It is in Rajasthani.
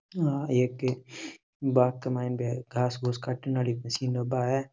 या एक बाग़ के मायने घास काटन आरी मशीन बा है।